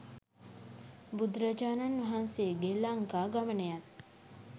බුදුරජාණන් වහන්සේගේ ලංකා ගමනයත්,